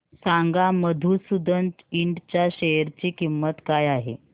सांगा मधुसूदन इंड च्या शेअर ची किंमत काय आहे